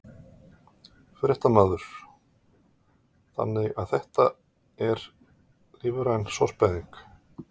Fréttamaður: Þannig að þetta er lífræn sorpeyðing?